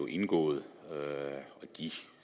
indgået de